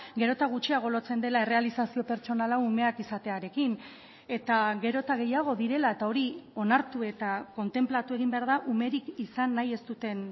gero eta gutxiago lotzen dela errealizazio pertsonala umeak izatearekin eta gero eta gehiago direla eta hori onartu eta kontenplatu egin behar da umerik izan nahi ez duten